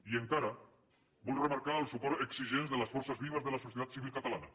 i encara vull remarcar els suports exigents de les forces vives de la societat civil catalana